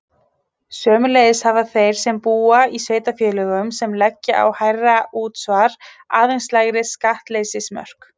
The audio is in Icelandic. Sömuleiðis hafa þeir sem búa í sveitarfélögum sem leggja á hærra útsvar aðeins lægri skattleysismörk.